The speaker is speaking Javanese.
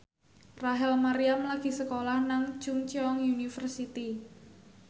Rachel Maryam lagi sekolah nang Chungceong University